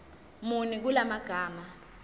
muni kula magama